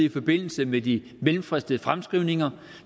i forbindelse med de mellemfristede fremskrivninger